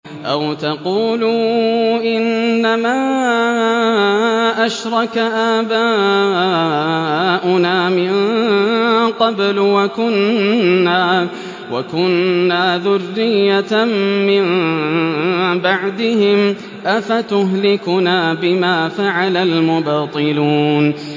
أَوْ تَقُولُوا إِنَّمَا أَشْرَكَ آبَاؤُنَا مِن قَبْلُ وَكُنَّا ذُرِّيَّةً مِّن بَعْدِهِمْ ۖ أَفَتُهْلِكُنَا بِمَا فَعَلَ الْمُبْطِلُونَ